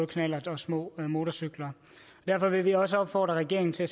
knallerter og små motorcykler derfor vil vi også opfordre regeringen til at